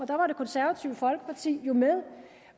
der var det konservative folkeparti jo med